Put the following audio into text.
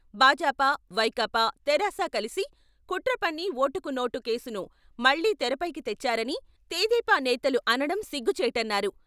భాజపా, వైకాపా, తెరాస కలిసి కుట్ర పన్ని ఓటుకు నోటు కేసును మళ్లీ తెరపైకి తెచ్చారని తెదేపా నేతల అనడం సిగ్గుచేటన్నారు.